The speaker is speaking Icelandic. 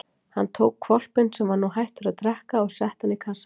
Hann tók hvolpinn sem nú var hættur að drekka og setti hann í kassann sinn.